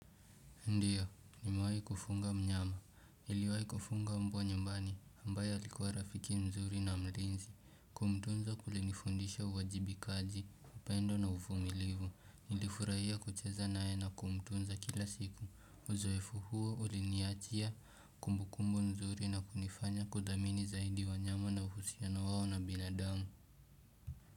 Ndiyo, nimewahi kufuga mnyama, niliwahi kufuga mbwa nyumbani, ambaye alikuwa rafiki mzuri na mlinzi, kumtunza kulinifundisha uwajibikaji, upendo na uvumilivu, nilifurahia kucheza nae na kumtunza kila siku, uzoefu huo uliniachia kumbukumbu nzuri na kunifanya kudhamini zaidi wanyama na uhusiano wao na binadamu.